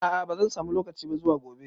A'a bazan samu lokaci ba zuwa gobe